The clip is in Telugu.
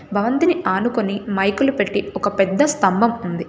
బాంతిని ఆనుకొని మైకులు పెట్టి ఒక పెద్ద స్తంభం ఉంది.